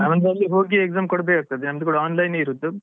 ನಮ್ದು ಅಲ್ಲಿ ಹೋಗಿ Exam ಕೊಡಬೇಕಾಗ್ತದೆ ನಮ್ದು ಕೂಡ online ಯೇ ಇರುದು.